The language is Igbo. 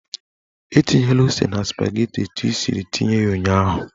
Etinyela ose na spageti etu ị siri tinye ụnyaahụ!